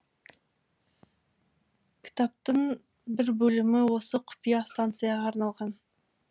кітаптың бір бөлімі осы құпия станцияға арналған